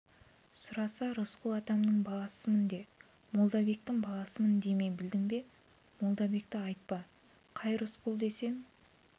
сұраса рысқұл атамның баласымын де молдабектің баласымын деме білдің бе молдабекті айтпа қай рысқұл десе